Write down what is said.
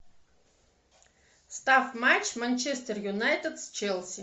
ставь матч манчестер юнайтед с челси